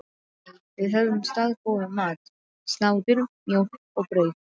Nei, við höfðum staðgóðan mat: Slátur, mjólk og brauð.